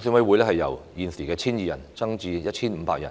選委會由現時的 1,200 人增至 1,500 人；